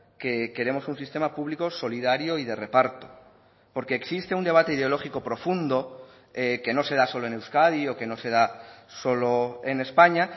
que queremos un sistema público solidario y de reparto porque existe un debate ideológico profundo que no se da solo en euskadi o que no se da solo en españa